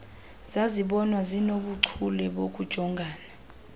zazibonwa zinobuchule bokujongana